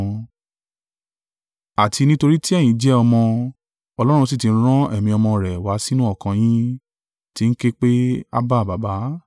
Àti nítorí tí ẹ̀yin jẹ́ ọmọ, Ọlọ́run sì ti rán Ẹ̀mí Ọmọ rẹ̀ wá sínú ọkàn yín, tí ń ké pé, “Ábbà, Baba.”